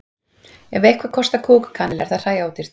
Ef eitthvað kostar kúk og kanil er það hræódýrt.